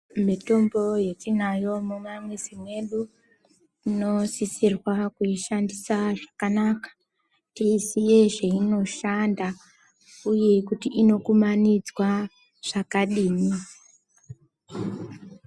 Mitombo yetinayo mumamizi mwedu tinosisirwa kuishandisa zvakanaka teiziye zveinoshanda uye kuti inokumanidzwa zvakadini